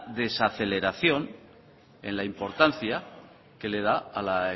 desaceleración en la importancia que le da a la